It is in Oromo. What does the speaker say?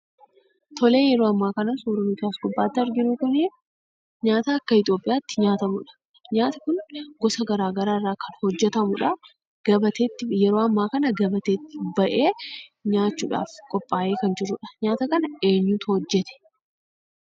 Tole yeroo ammaa kana suurri nuti as gubbaatti arginu kunii nyaata akka Itiyoophiyaatti nyaatamudha. Nyaati kun gosa garaa garaa irraa kan hojjetamudhaa. Gabateetti yeroo ammaa kana gabateetti ba'ee nyaachuudhaaf qophaa'ee kan jirudha. Nyaata kana eenyutu hojjete?